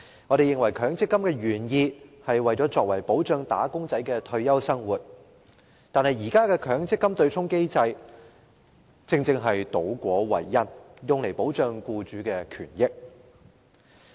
我們認為，設立強積金原意是為了保障"打工仔"的退休生活，但現時的強積金對沖機制卻倒果為因，用來保障僱主的權益。